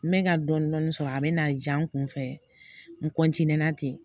N bɛ ka dɔɔnin dɔɔnin sɔrɔ a bɛ na diya n kun fɛ n na ten